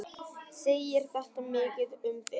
Segir þetta mikið um þig.